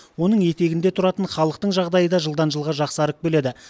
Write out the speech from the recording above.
оның етегінде тұратын халықтың жағдайы да жылдан жылға жақсарып келеді